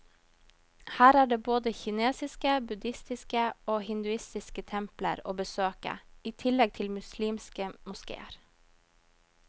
Her er det både kinesiske, budhistiske og hinduistiske templer å besøke, i tillegg til muslimske moskeer.